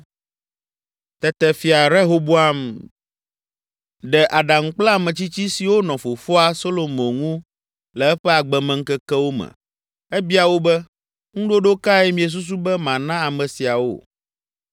Tete Fia Rehoboam de aɖaŋu kple ametsitsi siwo nɔ fofoa Solomo ŋu le eƒe agbemeŋkekewo me. Ebia wo be, “Ŋuɖoɖo kae miesusu be mana ame siawo?”